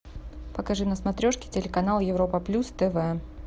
покажи на смотрешке телеканал европа плюс тв